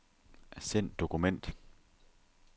Send dokument.